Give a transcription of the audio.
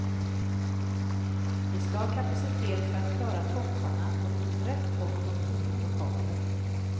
Vi skall ha kapacitet för att klara topparna och det finns rätt gott om tomma lokaler.